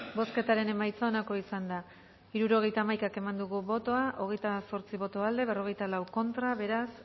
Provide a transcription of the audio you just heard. bozketaren emaitza onako izan da hirurogeita hamabi eman dugu bozka hogeita zortzi boto aldekoa cuarenta y cuatro contra beraz